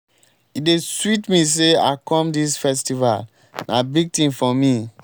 e dey sweet me say i come dis festival. na big thing for me.